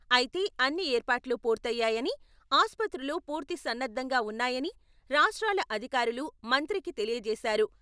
అయితే అన్ని ఏర్పాట్లు పూర్తయ్యాయని ఆసుపత్రులు పూర్తి సన్నద్ధంగా ఉన్నాయని రాష్ట్రాల అధికారులు మంత్రికి తెలియజేశారు.